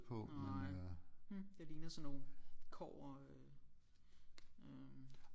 Nej hm det ligner sådan nogle kobber øh øh